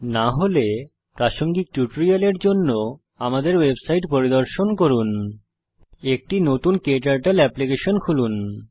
না হলে প্রাসঙ্গিক টিউটোরিয়ালের জন্য আমাদের ওয়েবসাইট পরিদর্শন করুন httpspoken tutorialorg একটি নতুন ক্টার্টল এপ্লিকেশন খুলুন